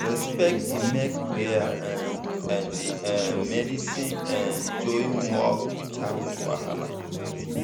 respect dey make prayer um and um medicine um join work without wahala.